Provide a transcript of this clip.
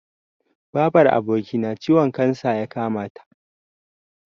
Babar abokina ciwon kansa ya kamata.